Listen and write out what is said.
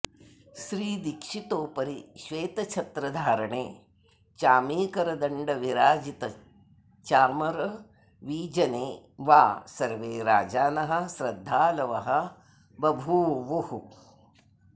श्रीदीक्षितोपरि श्वेतच्छत्रधारणे चामीकरदण्डविराजितचामरवीजने वा सर्वे राजानः श्रद्धालवो बभूवुः